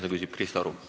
Palun!